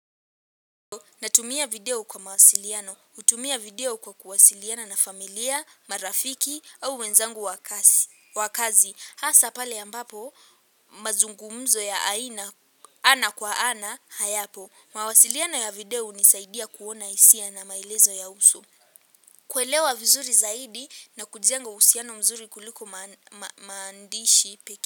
Natumia video kwa mawasiliano, hutumia video kwa kuwasiliana na familia, marafiki au wenzangu wa kazi. Hasa pale ambapo, mazungumzo ya aina, ana kwa ana, hayapo. Mawasiliano ya video hunisaidia kuona hisia na maelezo ya uso kuelewa vizuri zaidi na kujenga uhusiano mzuri kuliko maandishi pekee.